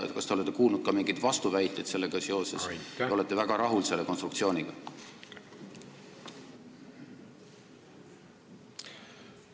Kas te olete kuulnud ka mingeid vastuväiteid sellega seoses või olete te selle konstruktsiooniga väga rahul?